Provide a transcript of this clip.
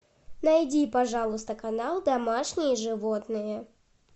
найди пожалуйста канал домашние животные